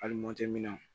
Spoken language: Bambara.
Hali